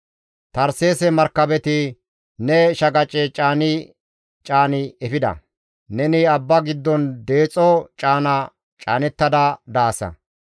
«Tarseese markabeti ne shaqace caani caani efida; neni abba giddon deexo caana caanettada daasa.